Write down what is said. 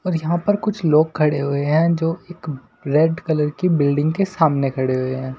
और यहां पर कुछ लोग खड़े हुए हैं जो एक रेड कलर की बिल्डिंग के सामने खड़े हुए हैं।